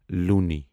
لوٗنی